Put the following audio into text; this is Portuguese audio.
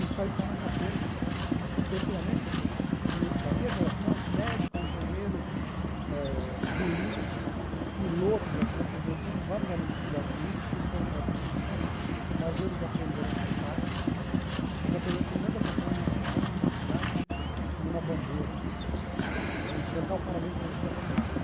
isso aí está na gaveta, porque antigamente, o da minha geração, médico, engenheiro eh, juiz, piloto de avião, quer dizer, eu tenho vários amigos que estudaram comigo, que foram para outras profissões, mas eles aprenderam a cantar, eles aprenderam pelo menos a cantar o hino nacional, o hino da cidade, o hino da bandeira, e cantar o parabéns para você afinado.